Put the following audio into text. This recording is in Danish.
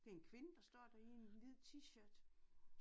Det en kvinde der står der i en hvid t-shirt